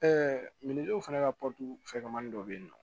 minj'o fana ka fɛkɛmani dɔ bɛ yen nɔ